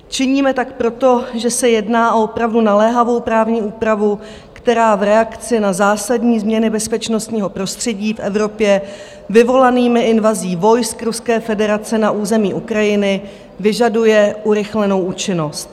Činíme tak proto, že se jedná o opravdu naléhavou právní úpravu, která v reakci na zásadní změny bezpečnostního prostředí v Evropě vyvolanými invazí vojsk Ruské federace na území Ukrajiny vyžaduje urychlenou účinnost.